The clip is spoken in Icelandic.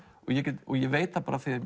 ég ég veit að